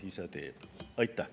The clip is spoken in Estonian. Aitäh!